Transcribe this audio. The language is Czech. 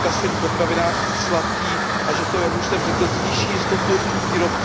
kasein potravinářský sladký a že to, jak už jsem řekl, zvýší jistotu výrobců.